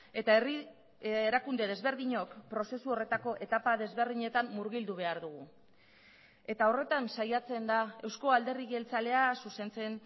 eta herri erakunde desberdinok prozesu horretako etapa desberdinetan murgildu behar dugu eta horretan saiatzen da eusko alderdi jeltzalea zuzentzen